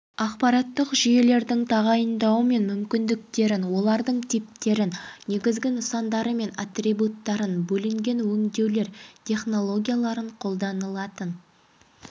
ақпараттық жүйелердің тағайындауы мен мүмкіндіктерін оларлың типтерін негізгі нысандары мен атрибуттарын бөлінген өңдеулер технологияларын қолданылатын